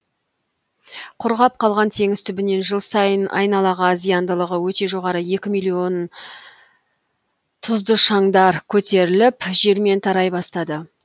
құрғап қалған теңіз түбінен жыл сайын айналаға зияндылығы өте жоғары екі миллион тұзды шаңдар көтеріліп желмен тарай бастады